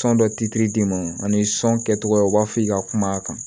d'i ma ani kɛcogoya u b'a fɔ i ka kuma kan